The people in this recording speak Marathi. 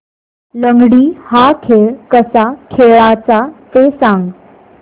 लंगडी हा खेळ कसा खेळाचा ते सांग